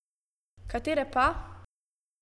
Katere pa?